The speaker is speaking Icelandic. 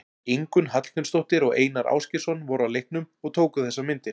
Ingunn Hallgrímsdóttir og Einar Ásgeirsson voru á leiknum og tóku þessar myndir.